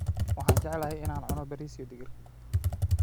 Waxaan jeclahay in aan cuno bariis iyo digir.